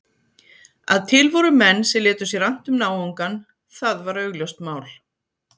Að til voru menn sem létu sér annt um náungann, það var augljóst mál.